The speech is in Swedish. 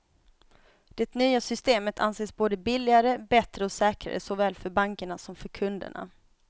Det nya systemet anses både billigare, bättre och säkrare såväl för bankerna som för kunderna.